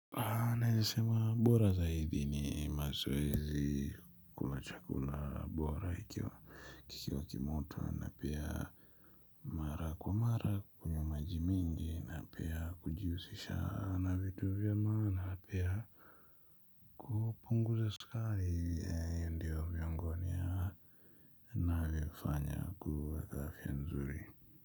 Naweza sema bora zaidi ni mazoezi kula chakula bora hicho kikiwa kimoto na pia mara kwa mara kunywa maji mingi na pia kujihusisha na vitu vya maana pia kupunguza sukari ndiyo miongoni ya ninavyofanya kuweka afya nzuri.